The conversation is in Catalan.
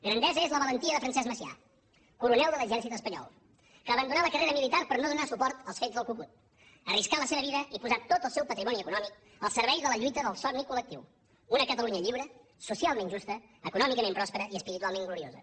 grandesa és la valentia de francesc macià coronel de l’exèrcit espanyol que abandonà la carrera militar per no donar suport als fets del cu cut arriscà la seva vida i posà tot el seu patrimoni econòmic al servei de la lluita del somni col·lectiu una catalunya lliure socialment justa econòmicament pròspera i espiritualment gloriosa